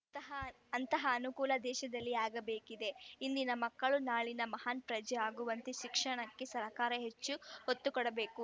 ಅಂ ತಹ ಅಂತಹ ಅನುಕೂಲ ದೇಶದಲ್ಲಿ ಆಗಬೇಕಿದೆ ಇಂದಿನ ಮಕ್ಕಳು ನಾಳೆಯ ಮಹಾನ್‌ ಪ್ರಜೆ ಆಗುವಂತೆ ಶಿಕ್ಷಣಕ್ಕೆ ಸರ್ಕಾರ ಹೆಚ್ಚು ಒತ್ತುಕೊಡಬೇಕು